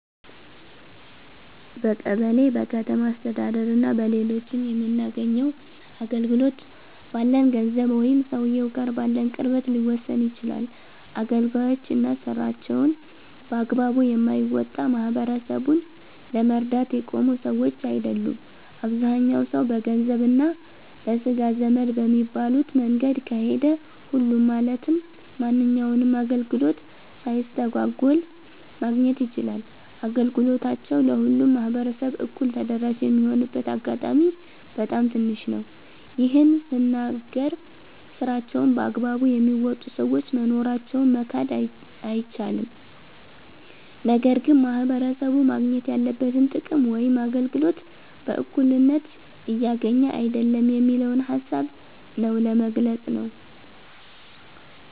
በቀበሌ፣ በከተማ አስተዳደር እና በሌሎችም የምናገኘው አገልግሎት፣ ባለን ገንዘብ ወይም ሰውየው ጋር ባለን ቅርበት ሊወሰን ይችላል። አገልጋዮች እና ስራቸውን በአግባቡ የማይወጣ፣ ማህበረሰቡን ለመርዳት የቆሙ ሰዎች አይደሉም። አብዛኛው ሰው በገንዘብ እና ለስጋ ዘመድ በሚባሉት መንገድ ከሄደ፣ ሁሉም ማለትም ማንኛውንም አገልግሎት ሳይስተጓጎል ማግኘት ይችላል። አገልግሎታቸው ለሁሉም ማህበረሰብ እኩል ተደራሽ የሚሆንበት አጋጣሚ በጣም ትንሽ ነው። ይህን ስናገር ስራቸውን በአግባቡ የሚወጡ ሰዎች መኖራቸውን መካድ አይቻልም። ነገር ግን ማህበረሰቡ ማግኘት ያለበትን ጥቅም ወይም አገልግሎት በእኩልነት እያገኘ አይደለም የሚለውን ሃሳብ ነው ለመግለፅ ነው።